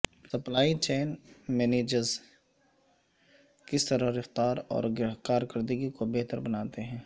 supply chain managers کس طرح رفتار اور کارکردگی کو بہتر بناتے ہیں